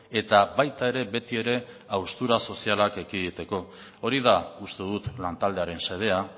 eta baita ere betiere haustura sozialak ekiditeko hori da uste dut lantaldearen xedea